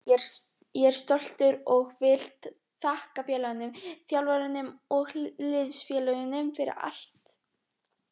Ég er stoltur og vil þakka félaginu, þjálfaranum og liðsfélögunum fyrir allt.